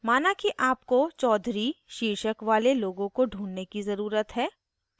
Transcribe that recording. माना कि आपको choudhary choudhury शीर्षक वाले लोगों को ढूँढने की ज़रुरत है